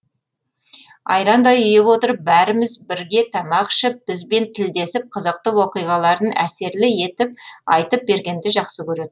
айрандай ұйып отырып бәріміз бірге тамақ ішіп бізбен тілдесіп қызықты оқиғаларын әсерлі етіп айтып бергенді жақсы көретін